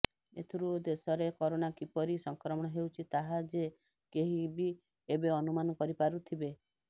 ଏଥିରୁ ଦେଶରେ କରୋନା କିପରି ସଂକ୍ରମଣ ହେଉଛି ତାହା ଯେ କେହିବି ଏବେ ଅନୁମାନ କରିପାରୁଥିବେ